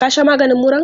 Ka sha maganin muran?